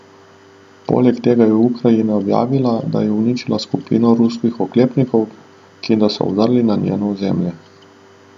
Poleg tega je Ukrajina objavila, da je uničila skupino ruskih oklepnikov, ki da so vdrli na njeno ozemlje.